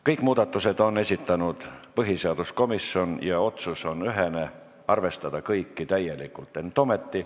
Kõik muudatused on esitanud põhiseaduskomisjon ja otsus on ühene: arvestada kõiki täielikult.